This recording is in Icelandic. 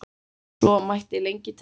Svo mætti lengi telja.